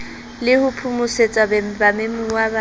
le ho phomosetsa bamemuwa ba